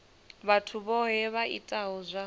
vhathu vhohe vha itaho zwa